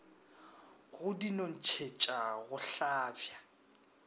go di nontšhetša go hlabja